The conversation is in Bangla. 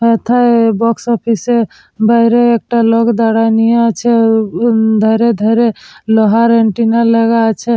এথায় বক্স অফিস বাইরে একটা দাঁড়ায় নিয়ে আছে উ উ ধারে ধারে লোহার এন্টিনা লাগা আছে।